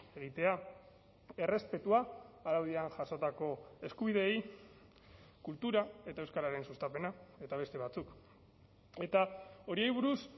egitea errespetua araudian jasotako eskubideei kultura eta euskararen sustapena eta beste batzuk eta horiei buruz